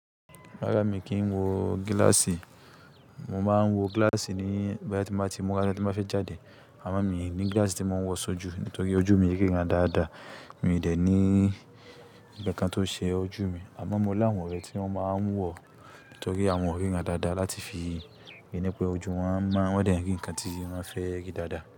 Rárá mi kì í wo gíláàsì. Mo máa ń wọ gíláàsì nígbà tí mo bá ti múra tí n bá fẹ́ jáde. Àmọ́ mi ní glaasi tí mo ń wọ̀ sí ojú, nítorí ojú mi riran dáadáa. Mi ò dẹ̀ ní ǹkankan tó ṣe ojú mi. Àwọn mo láwọn ọ̀rẹ́ tí wọ́n máa ń wọ nítorí àwọn ọ̀riran dáadáa láti fi ìnépè ojú wọn mọ. Wọ́n ò dẹ̀ rí ǹkan tí wọ́n fẹ́ rí dáadáa.